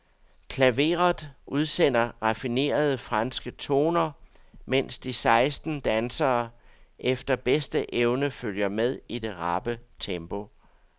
Klaveret udsender raffinerede, franske toner, mens de seksten dansere efter bedste evne følger med i det rappe tempo.